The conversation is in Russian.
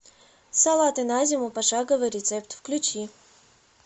салаты на зиму пошаговый рецепт включи